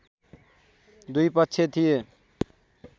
दुई पक्ष थिए